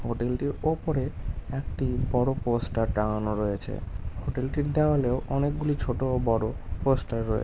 hotel টির উপরে একটি বড়ো পোস্টের টাঙানো রয়েছে হোটেল টির দেওয়ালে ও অনেক গুলি ছোট ও বড়ো পোস্টের রয়ে--